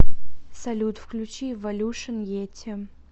салют включи эволюшн йети